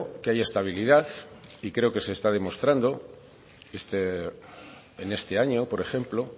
que haya estabilidad y creo que se está demostrando en este año por ejemplo